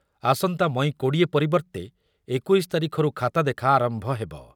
ଆସନ୍ତା ମଇ କୋଡି଼ଏ ପରିବର୍ତ୍ତେ ଏକୋଇଶ ତାରିଖରୁ ଖାତା ଦେଖା ଆରମ୍ଭ ହେବ ।